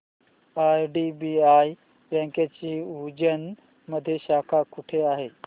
IDBI बँकेची उज्जैन मध्ये शाखा कुठे आहे